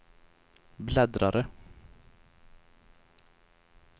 bläddrare